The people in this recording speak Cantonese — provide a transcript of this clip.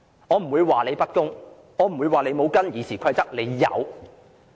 我不會說你不公，我不會說你沒有根據《議事規則》行事。